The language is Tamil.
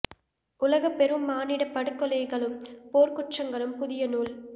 உலகப் பெரும் மானிடப் படுகொலைகளும் போர்க் குற்றங்களும் புதிய நூல்